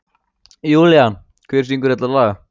Julian, hver syngur þetta lag?